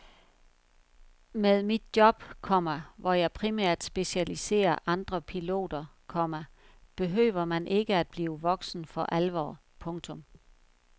Med mit job, komma hvor jeg primært specialiserer andre piloter, komma behøver man ikke at blive voksen for alvor. punktum